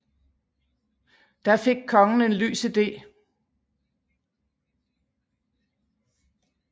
Da fik kongen en lys ide